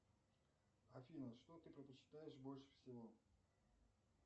афина что ты предпочитаешь больше всего